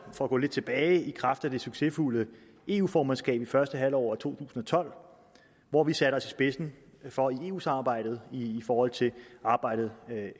for at gå lidt tilbage i kraft af det succesfulde eu formandskab i første halvår af to tusind og tolv hvor vi satte os i spidsen for eu samarbejdet i forhold til arbejdet